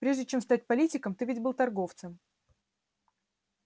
прежде чем стать политиком ты ведь был торговцем